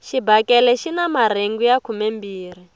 xibakele xina marhengu ya khumembirhi